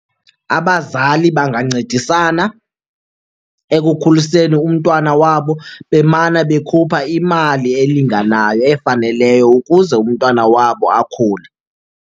Abazali bangancedisana ekukhuliseni umntwana wabo bemane bekhupha imali elinganayo efaneleyo ukuze umntwana wabo akhule.